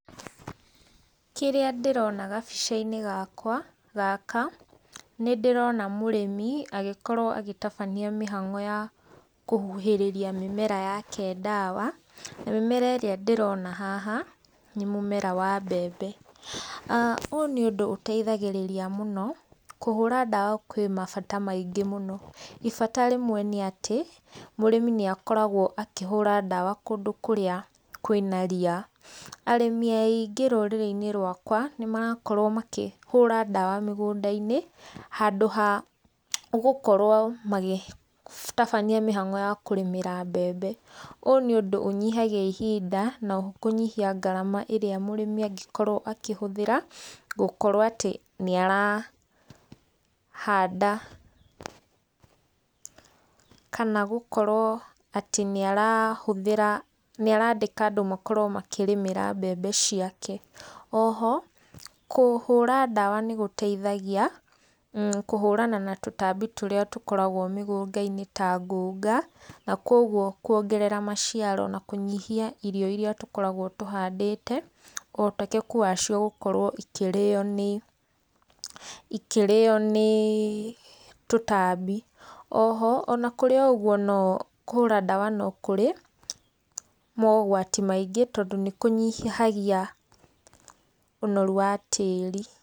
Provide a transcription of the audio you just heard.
Kĩrĩa ndĩrona gabica-inĩ gakwa gaka, nĩ ndĩrona mũrĩmi agĩkorwo agĩtabania mĩhango ya kũhuhĩrĩrĩa mĩmera yake ndawa, mĩmera ĩrĩa ndĩrona haha nĩ mũmera wa mbembe. Ũyũ nĩ ũndũ ũteithagĩrĩrĩa mũno kũhũra ndawa kwĩ mabata maĩngĩ mũno. Ibata rĩmwe nĩ atĩ mũrĩmi nĩ akoragwo akĩhũra ndawa kũndũ kũrĩa kwĩ na ria. Arĩmĩ aingĩ rũrĩrĩ-inĩ rwakwa nĩ marakorwo makĩhũra ndawa mĩgũnda-inĩ handũ ha gũkorwo magĩtabania mĩhango ya kũrĩmĩra mbembe. Ũyũ nĩ ũndũ ũnyihagĩa ihinda na oho kũnyihia ngarama ĩrĩa mũrĩmi angĩkorwo akĩhũthĩra gũkorwo atĩ nĩ arahanda ,kana gũkorwo atĩ nĩ arahũthĩra, nĩ arandĩka andũ makorwo makĩrĩmĩra mbembe ciake. O ho kũhũra ndawa nĩ gũteithagĩa kũhũrana na tũtambi tũrĩa tũkoragwo mĩgũnda-inĩ ta ngũnga na kogwo kũongerera maciaro na kũnyihia irio iria tũkoragwo tũhandĩte ũhoteteku wacio gũkorwo ikĩrĩo nĩ tũtambi. O ho ona kũri o ũgũo kũhũra ndawa nĩ kũrĩ mogwati maĩngĩ tondũ nĩ kũnyĩhagĩa ũnoru wa tĩĩri.